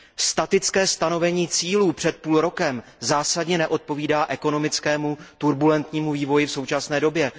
Statické stanovení cílů před půl rokem zásadně neodpovídá ekonomickému turbulentnímu vývoji v současné době.